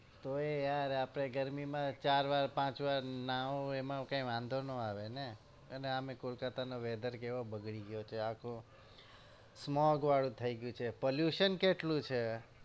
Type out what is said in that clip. તોય યાર આપણે ગરમીમાં ચાર વાર પાંચ વાર નાવો એમાં કઈ વધો ના આવે ને અને આમે કોલકાતાનો weather કેવો બગડી ગયો છે આખો smoke વાળો થયી ગયો છે pollution કેટલું છે.